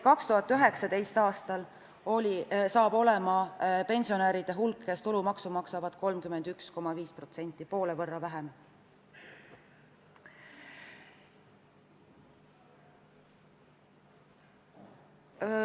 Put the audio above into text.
... 2019. aastal on pensionäre, kes tulumaksu maksavad, 31,5%, poole võrra vähem.